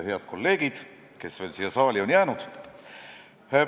Head kolleegid, kes veel siia saali on jäänud!